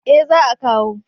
Eh za a kawo